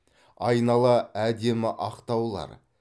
айнала әдемі ақ таулар